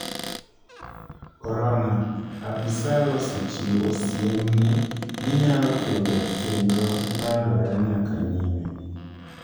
Corona: Apisal osechiwo siem ni 'ginyalo kedo kendo landore nyaka nyime'.